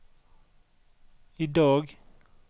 idag